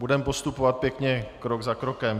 Budeme postupovat pěkně krok za krokem.